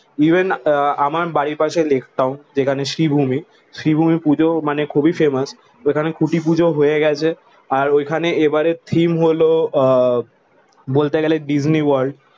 Even আহ আমার বাড়ির পাশে লেক টাউন যেখানে শ্রীভূমি শ্রীভূমি পুজো মানে খুবই ফেমাস। ওইখানে খুঁটি পুজো হয়ে গেছে। আর ওইখানে এবারের থিম হলো আহ বলতে গেলে ডিজনি ওয়ার্ল্ড।